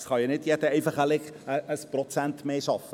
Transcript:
Es kann ja nicht einfach jeder 1 Prozent mehr arbeiten;